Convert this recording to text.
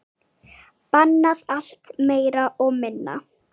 Bannað allt, meira og minna.